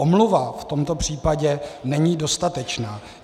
Omluva v tomto případě není dostatečná.